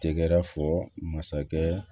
Tɛgɛrɛ fɔ masakɛ